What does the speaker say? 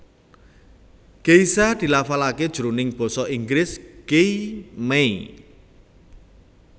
Geisha dilafalaké jroning basa Inggris gei may